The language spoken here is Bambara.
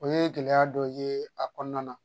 O ye gɛlɛya dɔ ye a kɔnɔna na